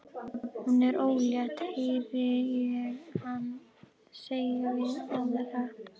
Hún er ólétt, heyri ég hana segja við aðra.